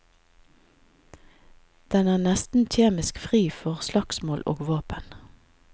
Den er nesten kjemisk fri for slagsmål og våpen.